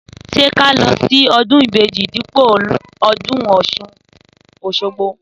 Sẹ kà lọ si ọdún ìbejí dípò ọdún ọsún osogbo?